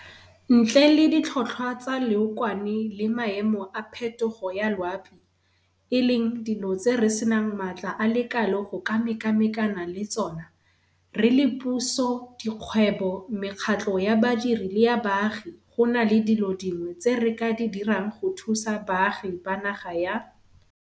Ntle le ditlhotlhwa tsa leokwane le maemo a phetogo ya loapi, e leng dilo tse re senang maatla a le kalo go ka mekamekana le tsona, re le puso, dikgwebo, mekgatlho ya badiri le ya baagi gona le dilo dingwe tse re ka di dirang go thusa baagi ba naga ya